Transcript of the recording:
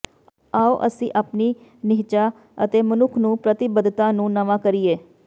ਆਉ ਅਸੀਂ ਆਪਣੀ ਨਿਹਚਾ ਅਤੇ ਮਨੁੱਖ ਨੂੰ ਪ੍ਰਤੀਬੱਧਤਾ ਨੂੰ ਨਵਾਂ ਕਰੀਏ